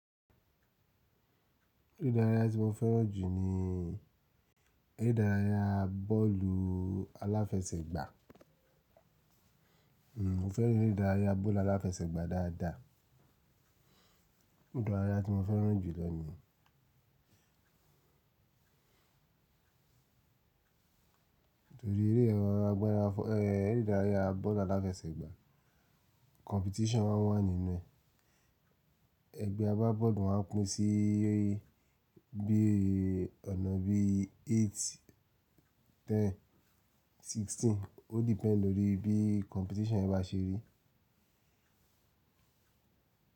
Eré ìdárayá tí mo fẹ́ràn jù ní eré ìdárayá bọ́ọ̀lù aláfẹsẹ̀gbá. N mo fẹ́ràn eré ìdárayá bọ́ọ̀lù aláfẹsẹ̀gbá dáadáa. Ere idaraya tí mo fẹ́ràn jùlọ ní yen torí eré yen agbára fọ-- ẹ́ eré ìdárayá bọ́ọ̀lù aláfẹsẹ̀gbá competition maa n wà nínú ẹ. Ẹgbẹ́ agbábọ́ọ̀lù máa ń pín sí bí i ọ̀nà bí i eight, ten, sixteen. Ó depend lórí bí competition yẹn bá ṣe rí.